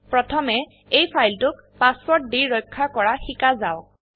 প্ৰথমে এই ফাইলটোক পাসওয়াৰ্ড দি ৰক্ষা কৰা শিকা যাওক